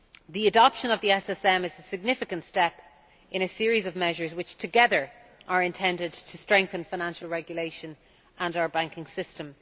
The adoption of the SSM is a significant step in a series of measures which together are intended to strengthen financial regulation and our banking system.